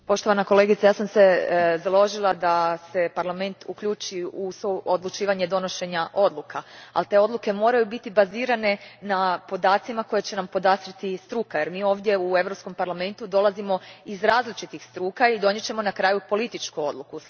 Poštovana kolegice, ja sam se založila da se Parlament uključi u suodlučivanje prilikom donošenja odluka, ali te odluke moraju biti bazirane na podacima koje će nam podastrijeti struka jer mi ovdje u Europskom parlamentu dolazimo iz različitih struka i donijet ćemo na kraju političku odluku.